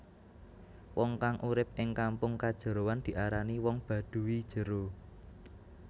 Wong kang urip ing kampung kajeroan diarani wong Baduy jero